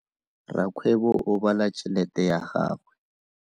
Rakgwebo o bala tšhelete ya gagwe.